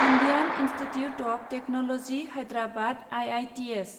Indian institute of technology Hyderabad IITH